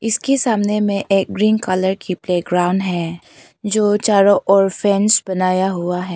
इसके सामने में एक ग्रीन कलर की प्लेग्राउंड है जो चारों ओर फ्रेम्स बनाया हुआ है।